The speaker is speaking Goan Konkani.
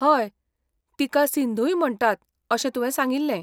हय, तिका सिंधूय म्हणटात अशें तुवें सांगिल्लें.